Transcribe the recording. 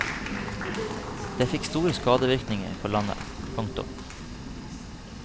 Det fikk store skadevirkninger for landet. punktum